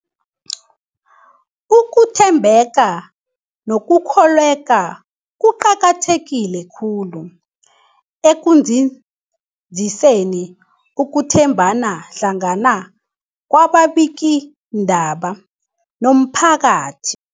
Ukuthembeka nokukholweka kuqakatheke khulu ekunzinziseni ukuthembana hlangana kwababikiindaba nomphakathi.